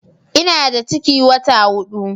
Ina da ciki wata hudu